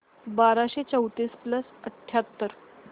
बाराशे चौतीस प्लस अठ्याहत्तर